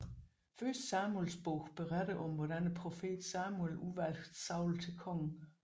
Første Samuelsbog beretter om hvordan profeten Samuel udvalgte Saul til konge